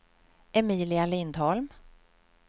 Emilia Lindholm